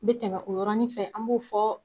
N be tɛmɛ o yɔrɔnin fɛ an b'o fɔ